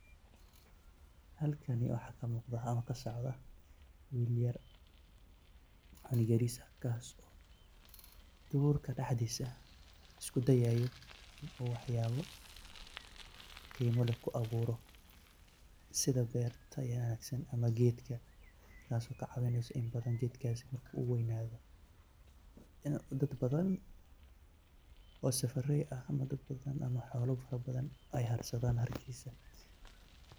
Halkani waxa kamugda ona kasocda wiil yar, wiil yaris ah kaas oo durka daxdisa iskudayayo in u waxyabo gimaa leh kuawuro, sidja berta wanagsan ama geedka, taas oo kacawineyso in badan geedkas uweynado, inu dad badan oo safarry ah ama dad badan ama xoola farabadan ay jatsadan harkisa.